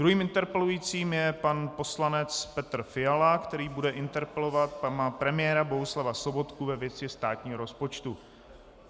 Druhým interpelujícím je pan poslanec Petr Fiala, který bude interpelovat pana premiéra Bohuslava Sobotku ve věci státního rozpočtu.